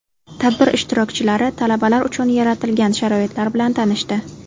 Tadbir ishtirokchilari talabalar uchun yaratilgan sharoitlar bilan tanishdi.